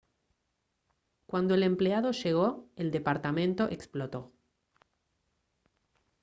cuando el empleado llegó el departamento explotó